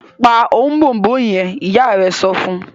pa Ọ̀bọ̀ọ̀nbọọ̀n yen! ìyá rẹ sọfún.